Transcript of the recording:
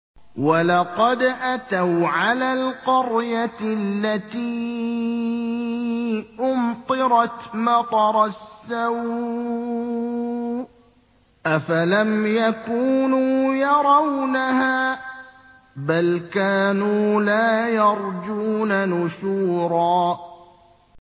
وَلَقَدْ أَتَوْا عَلَى الْقَرْيَةِ الَّتِي أُمْطِرَتْ مَطَرَ السَّوْءِ ۚ أَفَلَمْ يَكُونُوا يَرَوْنَهَا ۚ بَلْ كَانُوا لَا يَرْجُونَ نُشُورًا